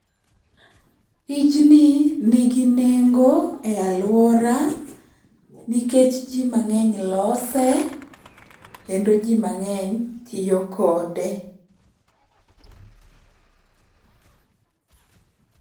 Tijni nigi nengo e aluora nikech jii mang'eny lose, kendo jii mang'eny tiyo kode